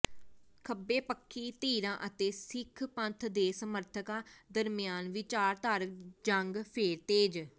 ਖੱਬੇ ਪੱਖੀ ਧਿਰਾਂ ਅਤੇ ਸਿੱਖ ਪੰਥ ਦੇ ਸਮਰਥਕਾਂ ਦਰਮਿਆਨ ਵਿਚਾਰਧਾਰਕ ਜੰਗ ਫੇਰ ਤੇਜ਼